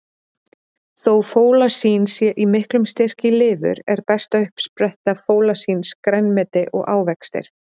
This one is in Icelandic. Þó fólasín sé í miklum styrk í lifur, er besta uppspretta fólasíns grænmeti og ávextir.